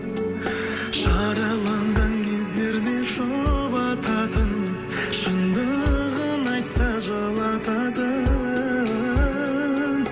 жараланған кездерде жұбататын шындығын айтса жылататын